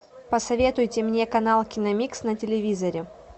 посоветуйте мне канал киномикс на телевизоре